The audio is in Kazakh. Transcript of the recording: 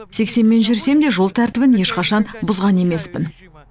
сексенмен жүрсем де жол тәрбітін ешқашан бұзған емеспін